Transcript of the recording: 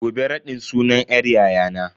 Gobe raɗin sunan yar yayana.